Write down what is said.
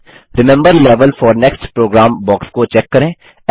remember level four next program box को check करें